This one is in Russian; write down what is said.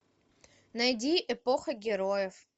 найди эпоха героев